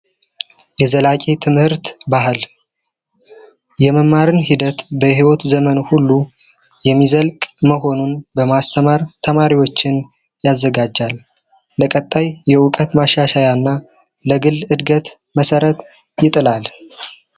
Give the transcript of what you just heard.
የዘላቂ ትምህርት ባህል የመማር ሂደት በይወት ዘመን ሁሉ የሚዘልቅ መሆኑን ለማስተማር ተማሪዎችን ያዘጋጃል። ማሻሻያ እና የዕድገት መሠረት ይጥላል።